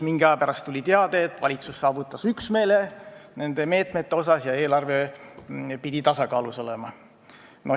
Mingi aja pärast tuli teade, et valitsus saavutas üksmeele nende meetmete osas ja eelarve on tasakaalus.